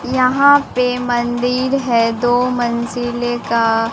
यहां पे मंदिर है दो मंजिले का।